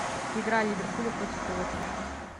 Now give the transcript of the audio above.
игра ливерпуля против уотфорда